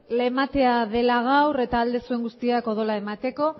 ematea dela gaur eta ahal duzuen guztiak odola emateko